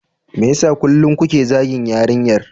Me yasa kullum kuke zagin yarinyar?